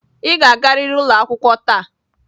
Ị ga-agarịrị ụlọ akwụkwọ taa!